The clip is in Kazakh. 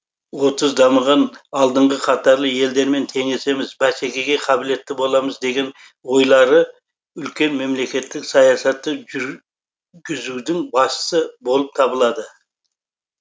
отыз дамыған алдыңғы қатарлы елдермен теңесеміз бәсекеге қабілетті боламыз деген ойлары үлкен мемлекеттік саясатты жүргізудің басы болып табылады